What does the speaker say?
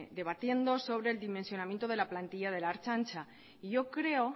debatiendo sobre el dimensionamiento de la plantilla de la ertzaintza y yo creo